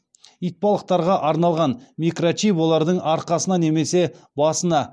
итбалықтарға арналған микрочип олардың арқасына немесе басына